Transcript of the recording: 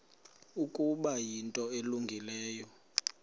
ukuba yinto elungileyo